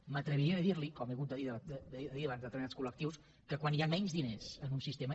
m’atreviria a dir li com he hagut de dir davant de determinats col·lectius que quan hi han menys diners en un sistema